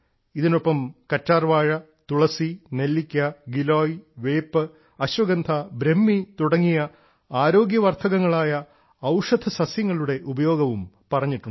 ഇതിനൊപ്പം കറ്റാർവാഴ തുളസി നെല്ലിക്ക ഗിലോയ് വേപ്പ് അശ്വഗന്ധ ബ്രഹ്മി തുടങ്ങിയ ആരോഗ്യ വർദ്ധകങ്ങളായ ഔഷധസസ്യങ്ങളുടെ ഉപയോഗവും പറഞ്ഞിട്ടുണ്ട്